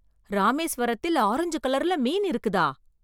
ராமேஸ்வரத்தில் ஆரஞ்சு கலர்ல மீன் இருக்குதா!